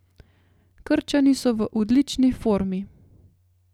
Krčani so v odlični formi.